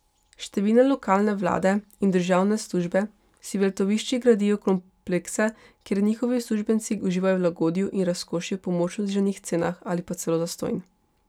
Številne lokalne vlade in državne službe si v letoviščih gradijo komplekse, kjer njihovi uslužbenci uživajo v lagodju in razkošju po močno znižanih cenah ali pa celo zastonj.